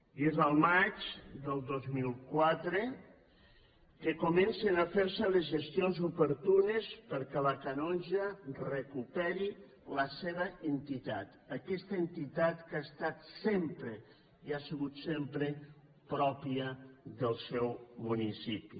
i és el maig del dos mil quatre que comencen a fer se les gestions oportunes perquè la canonja recuperi la seva entitat aquesta entitat que ha estat sempre i ha sigut sempre pròpia del seu municipi